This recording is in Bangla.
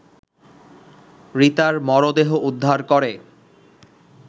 রিতার মরদেহ উদ্ধার করে